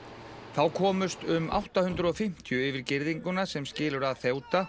þá komust um átta hundruð og fimmtíu yfir girðinguna sem skilur að